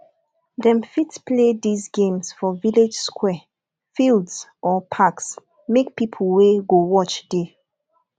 dem fit play these games for village square fields or parks make pipo wey go watch de